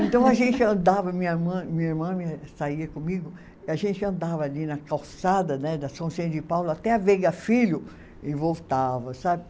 Então a gente andava, minha irmã, minha irmã me saía comigo, e a gente andava ali na calçada, né da São Sérgio de Paulo até a Veiga Filho e voltava, sabe?